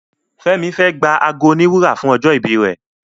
Femi fè gbà àgọ òní wúrà fún ojó ibí rẹ